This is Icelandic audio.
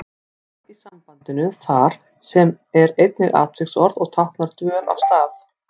Þar í sambandinu þar sem er einnig atviksorð og táknar dvöl á stað.